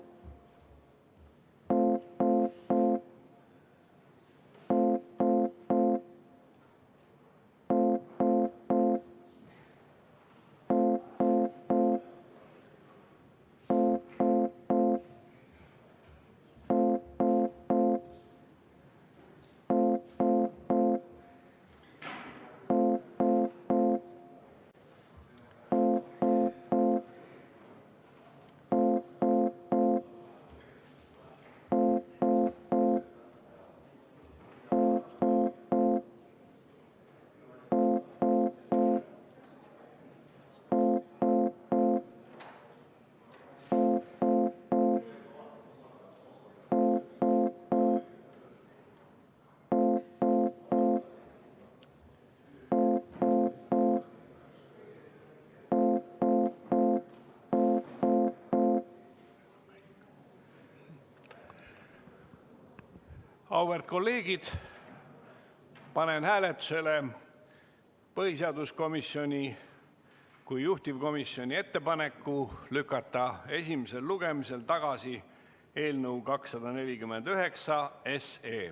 Auväärt kolleegid, panen hääletusele põhiseaduskomisjoni kui juhtivkomisjoni ettepaneku lükata esimesel lugemisel tagasi eelnõu 249.